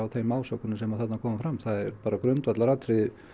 þeim ásökunum sem þarna komi fram það er grundvallaratriði